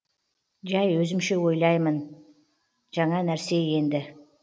жай өзімше ойлаймын жаңа нәрсе енді